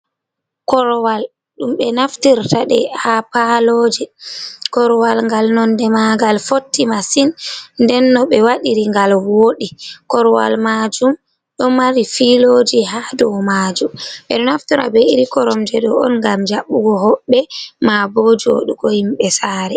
Korwal dum be naftirta de ha paloje korwal gal nonde magal fotti masin nden no be wadiri gal wodi korwal majum do mari filoji ha dow majum. bedo naftita be iri koromdedo on gam jabugo hobbe ma bo jodugo himbe sare.